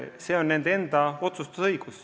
See on nende enda otsustada.